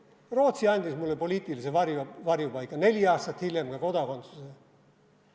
Rootsi andis mulle poliitilise varjupaiga, neli aastat hiljem ka kodakondsuse.